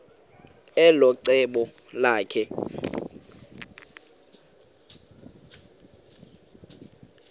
elo cebo lakhe